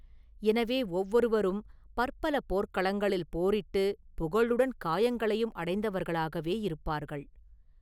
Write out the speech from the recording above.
எனவே ஒவ்வொருவரும் பற்பல போர்க்களங்களில் போரிட்டு புகழுடன் காயங்களையும் அடைந்தவர்களாகவே இருப்பார்கள்.